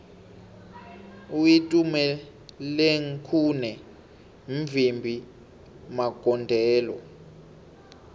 uitumelengkhune mvimbi magondelo